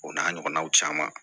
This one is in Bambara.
O n'a ɲɔgɔnnaw caman